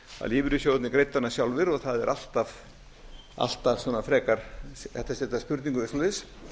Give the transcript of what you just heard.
lífeyrissjóðirnir greiddu hana sjálfir og það er alltaf frekar spurning eða eitthvað svoleiðis